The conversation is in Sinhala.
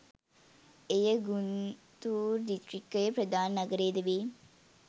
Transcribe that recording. එය ගුන්තූර් දිස්ත්‍රික්කයේ ප්‍රධාන නගරයද වේ.